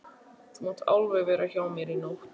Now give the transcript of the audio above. Þú mátt alveg vera hjá mér í nótt!